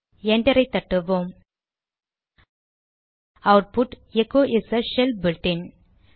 என்டரை தட்டுவோம் output echo is a shell built-in